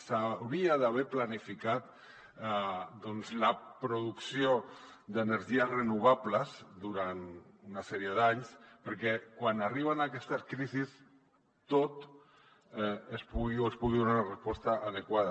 s’hauria d’haver planificat doncs la producció d’energies renovables durant una sèrie d’anys perquè quan arriben aquestes crisis s’hi pugui donar una resposta adequada